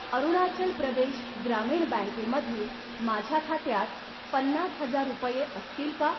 अरुणाचल प्रदेश ग्रामीण बँके मधील माझ्या खात्यात पन्नास हजार रुपये असतील का?